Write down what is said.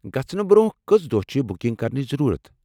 گژھنہٕ برٛۄنٛہہ کٔژ دۄہ چھےٚ بُکِنٛگ کرٕنچ ضرورت ؟